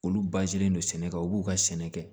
Olu don sɛnɛ kan u b'u ka sɛnɛ kɛ